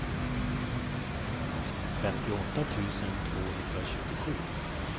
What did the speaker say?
femtioåtta tusen tvåhundratjugosju